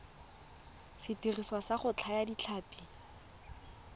sediriswa sa go thaya ditlhapi